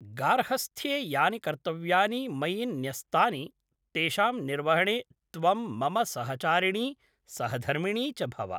गार्हस्थ्ये यानि कर्तव्यानि मयि न्यस्तानि तेषां निर्वहणे त्वं मम सहचारिणी सहधर्मिणी च भव।